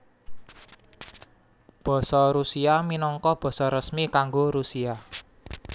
Basa Rusia minangka basa resmi kanggo Rusia